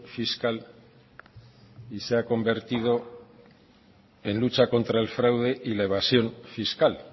fiscal y se ha convertido en lucha contra el fraude y la evasión fiscal